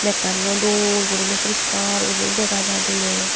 mekkaniyo dol gurine puriskar urine dega jai dole.